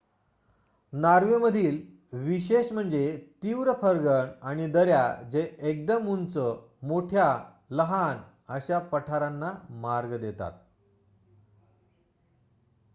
Norway मधील विशेष म्हणजे तीव्र फर्गन आणि दऱ्या जे एकदम उंच मोठ्या लहान अशा पठारांना मार्ग देतात